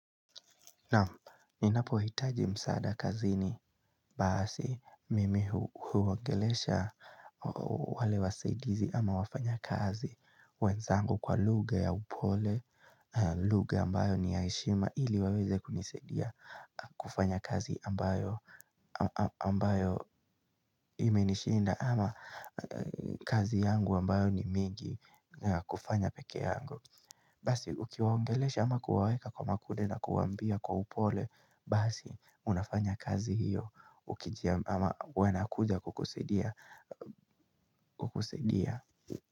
Naam ninapo hitaji msaada kazini basi mimi huongelesha wale wasaidizi ama wafanya kazi wenzangu kwa lugha ya upole lugha ambayo ni ya heshima ili waweze kunisaidia kufanya kazi ambayo imenishinda ama kazi yangu ambayo ni mingi kufanya pekee yangu Basi ukiwaongelesha ama kuwaweka kwa makude na kuwaambia kwa upole Basi unafanya kazi hiyo Ukijia ama wanakuja kukusaidia.